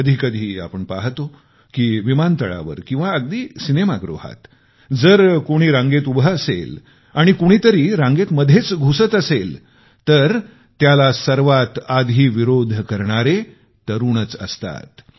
कधीकधी आपण पाहतो की विमानतळावर किंवा अगदी सिनेमागृहात जर कोणी रांगेत उभे असेल आणि कोणीतरी रांगेत मध्येच घुसत असेल तर त्याला सर्वात आधी विरोध करणारे तरुणच असतात